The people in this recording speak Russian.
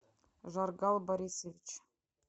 жаргал борисович